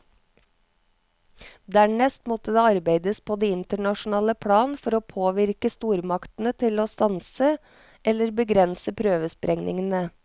Dernest måtte det arbeides på det internasjonale plan for å påvirke stormaktene til å stanse eller begrense prøvesprengningene.